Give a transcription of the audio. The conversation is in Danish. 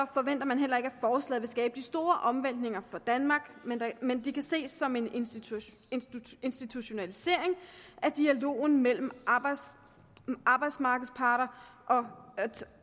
forventer man heller ikke at forslaget vil skabe de store omvæltninger for danmark men men det kan ses som en institutionalisering af dialogen mellem arbejdsmarkedsparter